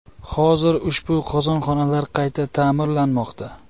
Hozir ushbu qozonxonalar qayta ta’mirlanmoqda”.